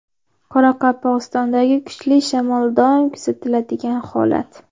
Qoraqalpog‘istondagi kuchli shamol doim kuzatiladigan holat.